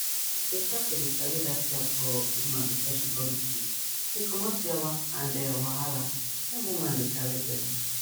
to start to dey sabi that care for woman before she born pikin dey comot yawa and um wahala when woman dey carry belle